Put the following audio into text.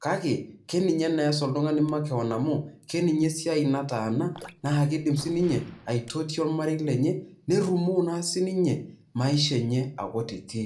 Kake keninye nee eas oltungani makewon amu Ina siai nataana naa kidim sininye aitotio ormarei lenye ,nerumoo naa sininye maisha enye .